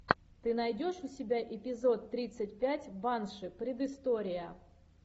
ты найдешь у себя эпизод тридцать пять банши предыстория